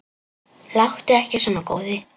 Láttu ekki svona góði.